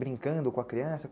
Brincando com a criança?